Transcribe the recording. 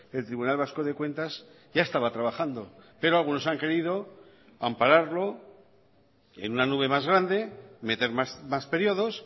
el tribunal vasco de cuentas ya estaba trabajando pero algunos han querido ampararlo en una nube más grande meter más periodos